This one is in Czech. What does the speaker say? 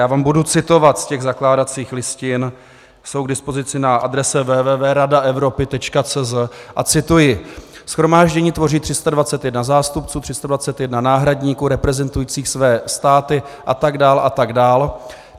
Já vám budu citovat z těch zakládacích listin, jsou k dispozici na adrese www.radaevropy.cz - a cituji: Shromáždění tvoří 321 zástupců, 321 náhradníků reprezentujících své státy... atd. atd.